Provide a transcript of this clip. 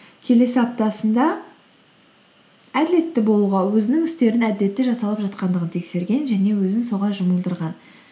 келесі аптасында әділетті болуға өзінің істерін әділетті жасалып жатқандығын тексерген және өзін соған жұмылдырған